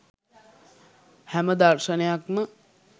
හැම දර්ශනයක්ම